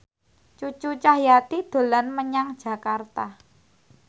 Cucu Cahyati dolan menyang Jakarta